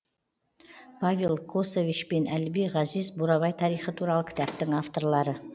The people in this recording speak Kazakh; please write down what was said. павел косович пен әліби ғазиз бурабай тарихы туралы кітаптың авторлары